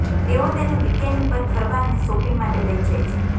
તેઓ તેને વીકેન્ડ પર ફરવા અને શોપિંગ માટે લઈ જાય છે